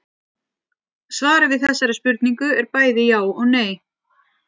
Svarið við þessari spurningu er bæði já og nei.